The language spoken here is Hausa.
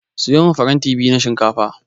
Siyo min faranta biyu na shinkafa.